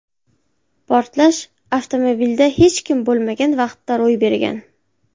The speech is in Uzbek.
Portlash avtomobilda hech kim bo‘lmagan vaqtda ro‘y bergan.